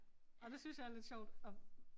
Ah det synes jeg er lidt sjovt at